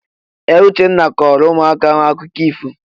Ee! Uchenna kọọrọ ụmụaka ahụ akụkọ ifo.